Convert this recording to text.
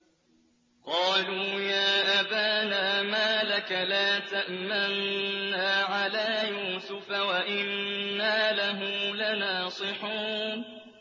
قَالُوا يَا أَبَانَا مَا لَكَ لَا تَأْمَنَّا عَلَىٰ يُوسُفَ وَإِنَّا لَهُ لَنَاصِحُونَ